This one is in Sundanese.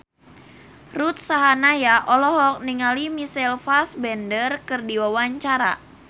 Ruth Sahanaya olohok ningali Michael Fassbender keur diwawancara